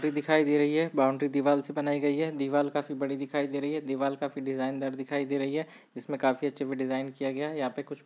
एक दिखाई दे रही है बाउंड्री दीवाल से बनायीं गयी है दीवाल काफी बड़ी दिखाई दे रही है दीवाल काफी डिज़ाइन दार दिखाई दे रही है जिसमे काफी अच्छे मे डिज़ाइन किया गया है यह पे कुछ--